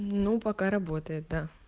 ну пока работает да